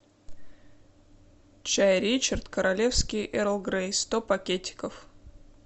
чай ричард королевский эрл грей сто пакетиков